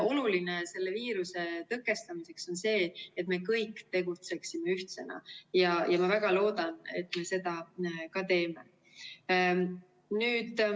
Oluline selle viiruse tõkestamiseks on see, et me kõik tegutseksime ühtsena, ja ma väga loodan, et me seda ka teeme.